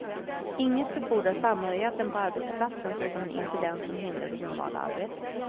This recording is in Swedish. Inget befordrar samhörigheten på arbetsplatsen så som en incident som hindrar det normala arbetet.